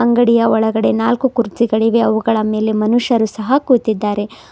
ಅಂಗಡಿಯ ಒಳಗಡೆ ನಾಲ್ಕು ಕುರ್ಚಿಗಳಿವೆ ಅವುಗಳ ಮೇಲೆ ಮನುಷ್ಯರು ಸಹ ಕೂತಿದ್ದಾರೆ.